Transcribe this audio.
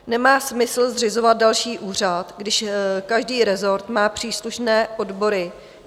Nemá smysl zřizovat další úřad, když každý rezort má příslušné odbory.